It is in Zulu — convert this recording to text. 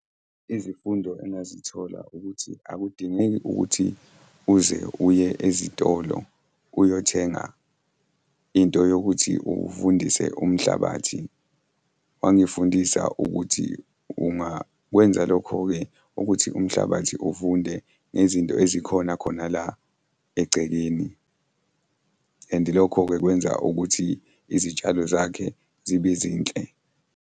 Izifundo engazithola ukuthi akudingeki ukuthi uze uye ezitolo uyothenga into yokuthi uvundise umhlabathi. Wangifundisa ukuthi ungakwenza lokho-ke ukuthi umhlabathi uvunde ngezinto ezikhona khona la egcekeni, and lokho-ke kwenza ukuthi izitshalo zakhe zibe zinhle.